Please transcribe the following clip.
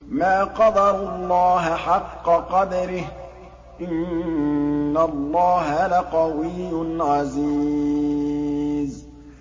مَا قَدَرُوا اللَّهَ حَقَّ قَدْرِهِ ۗ إِنَّ اللَّهَ لَقَوِيٌّ عَزِيزٌ